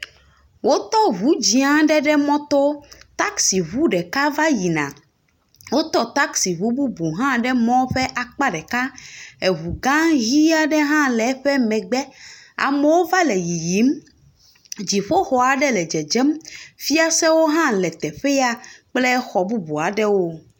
Wo tɔ ŋu dz0a aɖe ɖe mɔto. Taxi ŋu ɖeka va yina. Wotɔ taxi bubu hã ɖe mɔ ƒe akpa ɖeka. Eŋu gã ʋi aɖe hã le eƒe megbe. Amewo va le yiyim, dziƒoxɔ aɖe le dzedzem. Fiasewo hã le teƒea kple xɔ bubu aɖewo.